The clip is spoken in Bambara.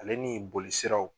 Ale ni bolisiraw